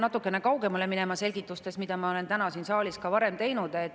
Ma pean selgitustes minema natukene kaugemale, mida ma olen täna siin saalis ka varem teinud.